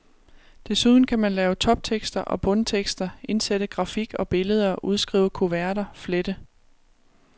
Desuden kan man lave toptekster og bundtekster, indsætte grafik og billeder, udskrive kuverter, flette.